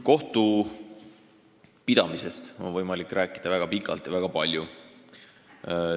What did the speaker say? Kohtupidamisest on võimalik rääkida väga pikalt ja väga palju.